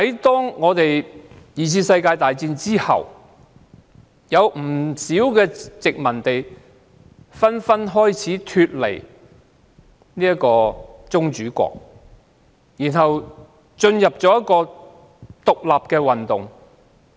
在第二次世界大戰後，不少殖民地紛紛脫離宗主國，獨立運動也出現。